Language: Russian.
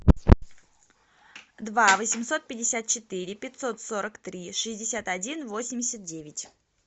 два восемьсот пятьдесят четыре пятьсот сорок три шестьдесят один восемьдесят девять